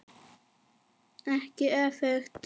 Ekki öfugt.